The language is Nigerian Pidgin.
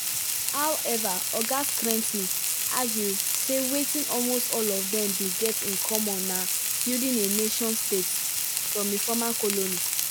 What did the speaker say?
however oga argue sey wetin all of them get in common na building a nation state from a former colony.